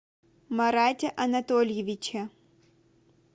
марате анатольевиче